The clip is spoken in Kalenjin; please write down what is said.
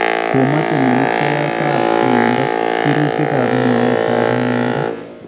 Komache ministaayaatab myeindo sirutikaab mwauutab myeindo